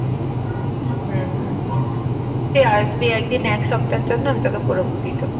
হম তুই আসবি একদিন এক সপ্তাহের জন্য আমি তোকে পুরো ঘুরিয়ে দেব